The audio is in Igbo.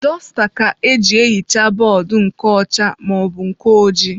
Dọsta ka-eji ehi ha bọọdụ nke ọcha maọbụ nke ojii.